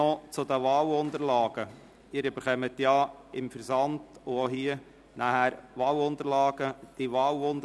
Noch zu den Wahlunterlagen: Sie haben mit dem Versand und auch hier Wahlunterlagen erhalten.